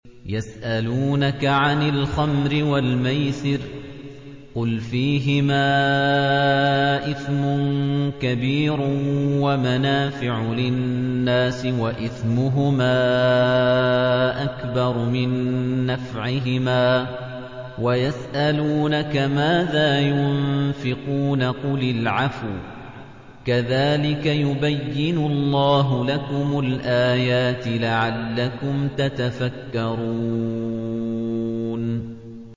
۞ يَسْأَلُونَكَ عَنِ الْخَمْرِ وَالْمَيْسِرِ ۖ قُلْ فِيهِمَا إِثْمٌ كَبِيرٌ وَمَنَافِعُ لِلنَّاسِ وَإِثْمُهُمَا أَكْبَرُ مِن نَّفْعِهِمَا ۗ وَيَسْأَلُونَكَ مَاذَا يُنفِقُونَ قُلِ الْعَفْوَ ۗ كَذَٰلِكَ يُبَيِّنُ اللَّهُ لَكُمُ الْآيَاتِ لَعَلَّكُمْ تَتَفَكَّرُونَ